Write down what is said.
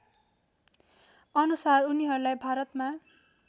अनुसार उनीहरूलाई भारतमा